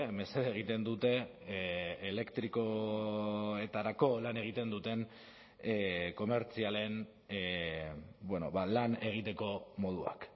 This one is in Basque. mesede egiten dute elektrikoetarako lan egiten duten komertzialen lan egiteko moduak